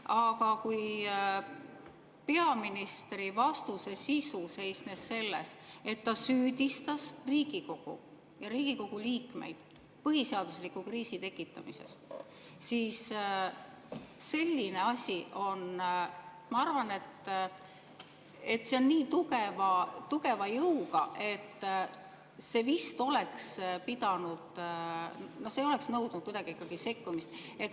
Aga kui peaministri vastuse sisu seisnes selles, et ta süüdistas Riigikogu liikmeid põhiseadusliku kriisi tekitamises, siis selline asi on, ma arvan, nii tugeva jõuga, et see vist oleks nõudnud ikkagi sekkumist.